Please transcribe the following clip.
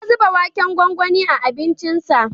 Ya zuba waken gwangwani a abincinsa.